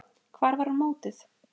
Hvar var hún mótuð?